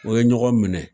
O ye ɲɔgɔn minɛ